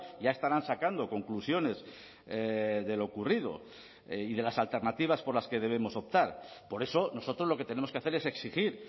ya estarán sacando conclusiones de lo ocurrido y de las alternativas por las que debemos optar por eso nosotros lo que tenemos que hacer es exigir